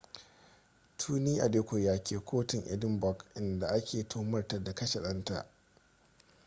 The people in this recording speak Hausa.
tuni adekoya ke kotun edinburgh in da a ke tuhumarta da kashe danta